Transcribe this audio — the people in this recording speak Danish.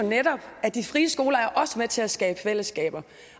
netop at de frie skoler også er med til at skabe fællesskaber